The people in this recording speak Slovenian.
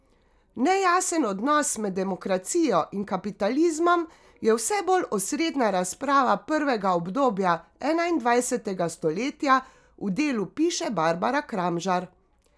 Nejasen odnos med demokracijo in kapitalizmom je vse bolj osrednja razprava prvega obdobja enaindvajsetega stoletja, v Delu piše Barbara Kramžar.